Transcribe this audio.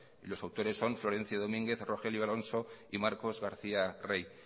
y los autores son florencio domínguez rogelio alonso y marcos garcía rey